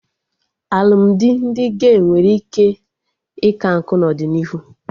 Alụmdi ndị gey nwere ike ika nkụ n'ọdịnihu